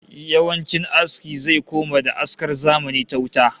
Yawancin aski zai koma da askar zamani ta wuta